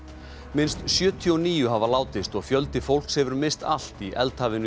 minnst sjötíu og níu hafa látist og fjöldi fólks hefur misst allt í